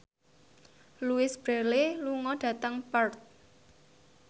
Louise Brealey lunga dhateng Perth